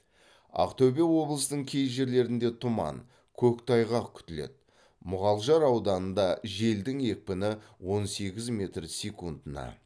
ақтөбе облысының кей жерлерінде тұман көктайғақ күтіледі муғалжар ауданында желдің екпіні он сегіз метр секундына